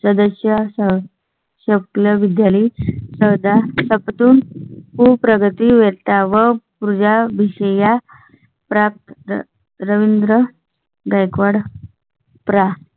सदस्या सह सप्लाय विद्यालय चौदा तून प्रगती वेळ व उर्जा भविष्या. प्राप्त रवींद्र गायकवाड. प्रा